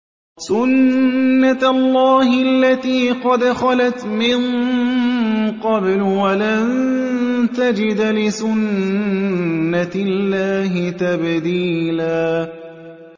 سُنَّةَ اللَّهِ الَّتِي قَدْ خَلَتْ مِن قَبْلُ ۖ وَلَن تَجِدَ لِسُنَّةِ اللَّهِ تَبْدِيلًا